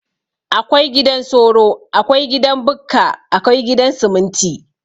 Akwai gidan soro, Akwai gidan Bukka, Akwai gidan siminti.